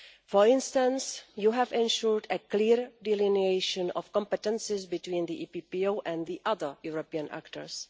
For instance, you have ensured a clear delineation of competences between the EPPO and the other European actors